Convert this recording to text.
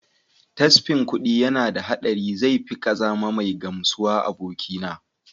Tasfin kuɗin yana da haɗari zai fi kazama mai gamsuwa abokina.